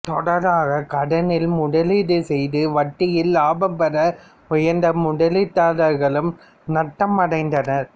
தொடராக கடனில் முதலீடு செய்து வந்த வட்டியில் இலாபம் பெற முயன்ற முதலீட்டாளர்களும் நட்டம் அடைந்தனர்